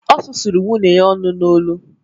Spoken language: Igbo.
Ọ susuru nwunye ya ọnụ n’olu